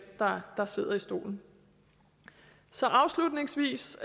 der der sidder i stolen så afslutningsvis